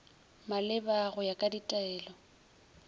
maleba go ya ka ditaelo